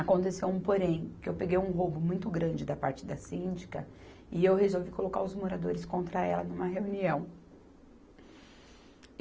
Aconteceu um porém, que eu peguei um roubo muito grande da parte da síndica e eu resolvi colocar os moradores contra ela numa reunião.